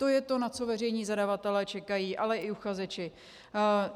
To je to, na co veřejní zadavatelé čekají, ale i uchazeči.